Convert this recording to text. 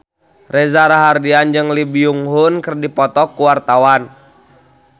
Reza Rahardian jeung Lee Byung Hun keur dipoto ku wartawan